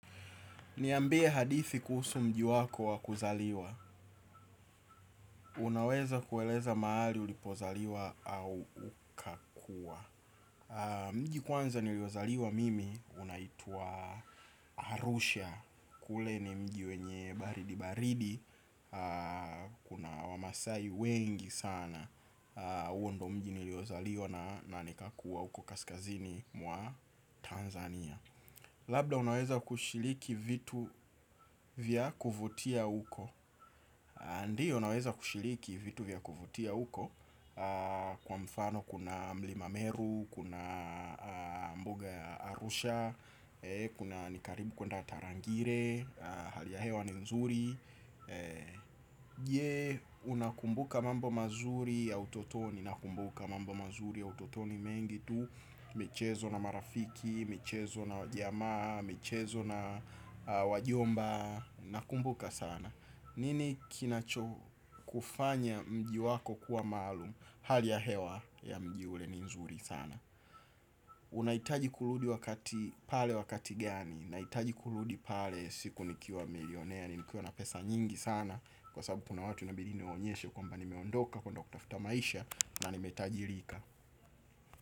Ni ambie hadithi kuhusu mji wako wa kuzaliwa. Unaweza kueleza mahali ulipozaliwa au ukakuwa. Mji kwanza niliozaliwa mimi unaitwa Arusha. Kule ni mji wenye baridi baridi. Kuna wamasai wengi sana. Uwo ndo mji niliozaliwa na nika kuwa huko kaskazini mwa Tanzania. Labda unaweza kushiriki vitu vya kuvutia uko. Ndio unaweza kushiriki vitu vya kuvutia huko kwa mfano kuna mlima meru kuna mbuga ya arusha kuna ni karibu kuenda tarangire hali ya hewa ni mzuri. Je unakumbuka mambo mazuri ya utotoni. Nakumbuka mambo mazuri ya utotoni mengi tu. Michezo na marafiki, michezo na wajamaa michezo na wajomba. Nakumbuka sana. Nini kinacho kufanya mji wako kuwa maluum. Hali ya hewa ya mji ule ni nzuri sana. Unaitaji kuludi wakati pale wakati gani. Na itaji kuludi pale siku nikiwa milionea ni nikiwa na pesa nyingi sana kwa sababu punawatu na biline onyeshe kwa mba ni meondoka kwa Dr. Futa Maisha. Na ni metaji rika.